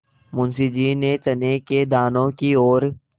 मुंशी जी ने चने के दानों की ओर